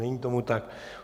Není tomu tak.